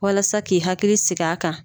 Walasa k'i hakili sigi a kan